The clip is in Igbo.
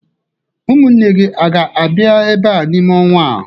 Ụmụnne gi aga-abịa ebe a n'ime ọnwa a?